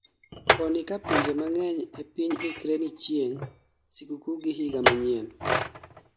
koni ka pinje mang'eny e piny ikre ni chieng' sikukuu gi higa manyien